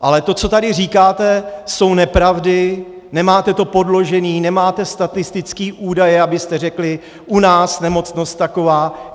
Ale to, co tady říkáte, jsou nepravdy, nemáte to podložené, nemáte statistické údaje, abyste řekli: u nás nemocnost taková.